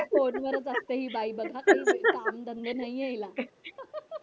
फोनवरच असते ही बाई बघावं तेव्हा काय काम धंदे नाही हिला